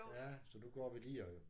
Ja så nu går vi lige og